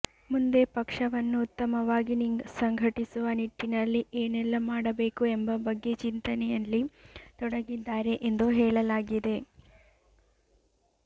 ಮುಂದೆ ಪಕ್ಷವನ್ನು ಉತ್ತಮವಾಗಿ ಸಂಘಟಿಸುವ ನಿಟ್ಟಿನಲ್ಲಿ ಏನೆಲ್ಲ ಮಾಡಬೇಕು ಎಂಬ ಬಗ್ಗೆ ಚಿಂತನೆಯಲ್ಲಿ ತೊಡಗಿದ್ದಾರೆ ಎಂದು ಹೇಳಲಾಗಿದೆ